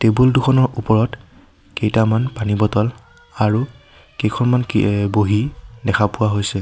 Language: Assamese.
টেবুল দুখনৰ ওপৰত কেইটামান পানী বটল আৰু কেইখনমান কি এ বহী দেখা পোৱা হৈছে।